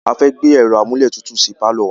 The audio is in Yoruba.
A fẹ́ gbé ẹ̀ro amúlétutù sí pálọ̀ wa.